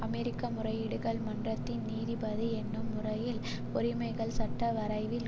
அமெரிக்க முறையீடுகள் மன்றத்தின் நீதிபதி என்னும் முறையில் உரிமைகள் சட்ட வரைவில்